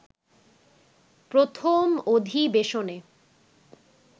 প্রথম অধিবেশনে